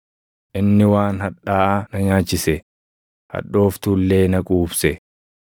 Inni waan hadhaaʼaa na nyaachise; hadhooftuu illee na quubse.